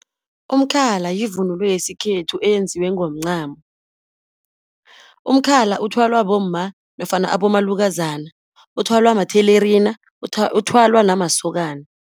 Umkhala yivunulo yesikhethu eyenziwe ngomncamo. Umkhala othwalwa bomma, nofana abomalukazana. Uthwalwa mathelerina uthwalwa namasokana.